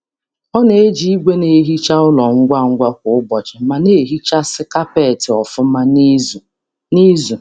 Ọ na-eji igwe na-ehicha ụlọ ngwa ngwa kwa ụbọchị ma na-ehichasi kapeti ofuma n'izu n'izu